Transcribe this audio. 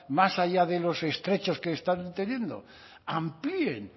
más allá de los estrechos que están teniendo amplíen